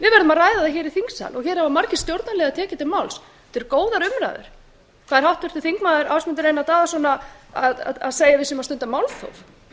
ræða það hér þingsal hér hafa margir stjórnarliðar tekið til máls þetta eru góðar umræður hvað er háttvirtur þingmaður ásmundur einar daðason að segja að við séum að stunda málþóf